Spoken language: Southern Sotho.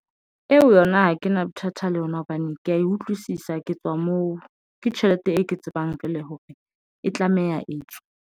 Eo yona ha kena bothata le yona hobane ke ya utlwisisa, ke tswa moo ke tjhelete e ke tsebang feela hore e tlameha etswe.